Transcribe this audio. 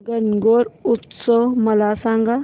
गणगौर उत्सव मला सांग